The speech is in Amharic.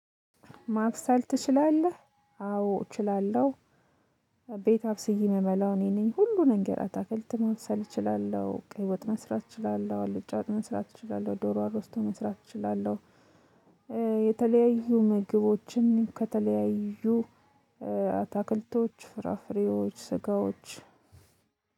ማበሰል ትችላለህ? አዎ እችላለሁ ቤት አብስዬ የምበላው እኔ ነኝ ሁሉንም ነገር አትክልት መስራት እችላለሁ ቀይ ወጥ መስራት እችላለሁ አልጫ ወጥ መስራት እችላለሁ ዶሮ አርስቶ መስራት እችላለሁ የተለያዩ ምግቦችን ከተለያዩ አታክልቶች ፍራፍሬዎች ስጋዎች